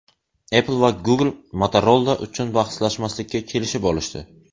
Apple va Google Motorola uchun bahslashmaslikka kelishib olishdi.